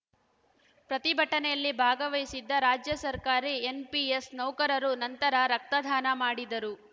ಪ್ರತಿಭಟನೆಯಲ್ಲಿ ಭಾಗವಹಿಸಿದ್ದ ರಾಜ್ಯ ಸರ್ಕಾರಿ ಎನ್‌ಪಿಎಸ್‌ ನೌಕರರು ನಂತರ ರಕ್ತದಾನ ಮಾಡಿದರು